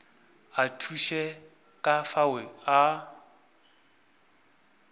a thuše ka fao a